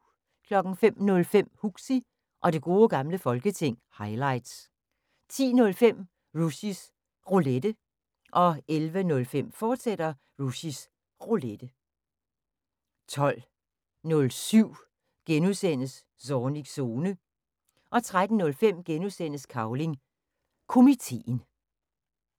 05:05: Huxi og Det Gode Gamle Folketing – highlights 10:05: Rushys Roulette 11:05: Rushys Roulette, fortsat 12:07: Zornigs Zone (G) 13:05: Cavling Komiteen (G)